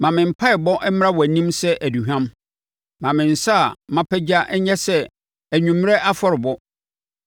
Ma me mpaeɛbɔ mmra wʼanim sɛ aduhwam; ma me nsa a mapagya nyɛ sɛ anwummerɛ afɔrebɔ.